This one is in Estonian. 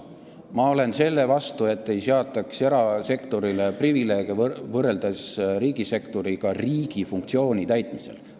Ma olen selle vastu, et erasektorile kehtestataks privileege võrreldes riigisektoriga riigi funktsiooni täitmisel.